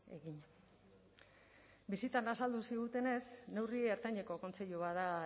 egin bisitan azaldu zigutenez neurri ertaineko kontseilu bat da